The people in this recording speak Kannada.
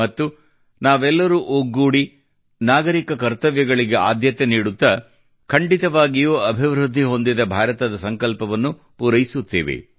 ಮತ್ತು ನಾವೆಲ್ಲರೂ ಒಗ್ಗೂಡಿ ನಾಗರಿಕರ ಕರ್ತವ್ಯಗಳಿಗೆ ಆದ್ಯತೆ ನೀಡುತ್ತಾ ಖಂಡಿತವಾಗಿಯೂ ಅಭಿವೃದ್ಧಿ ಹೊಂದಿದ ಭಾರತದ ಸಂಕಲ್ಪವನ್ನು ಪೂರೈಸುತ್ತೇವೆ